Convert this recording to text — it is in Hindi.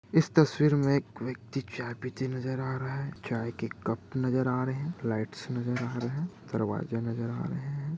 इस तस्वीर में एक व्यक्ति चाय पिते नजर आ रहा हैं चाय के कप नजर आ रहे हैं लाइट्स नजर आ रहे हैं दरवाजा नजर आ रहे हैं।